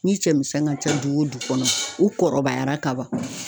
Ni cɛmisɛn ka ca du wo du kɔnɔ ,u kɔrɔbayara ka ban